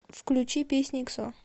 включи песня иксо